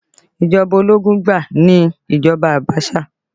Ìjọba ológun gbáà ni ìjọba Abasa